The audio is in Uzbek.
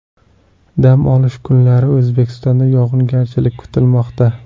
Dam olish kunlari O‘zbekistonda yog‘ingarchiliklar kutilmoqda.